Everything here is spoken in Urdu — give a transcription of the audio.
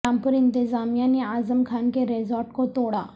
رام پور انتظامیہ نے اعظم خان کے ریزورٹ کو توڑا